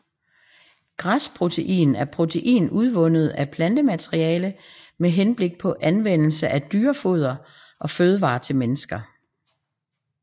Græsprotein er protein udvundet af plantemateriale med henblik på anvendelse i dyrefoder og fødevarer til mennesker